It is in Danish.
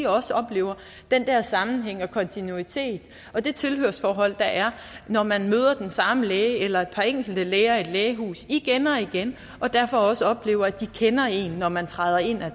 også oplever den der sammenhæng og kontinuitet og det tilhørsforhold der er når man møder den samme læge eller et par enkelte læger i et lægehus igen og igen og derfor også oplever at de kender en når man træder ind ad